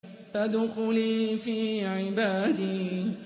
فَادْخُلِي فِي عِبَادِي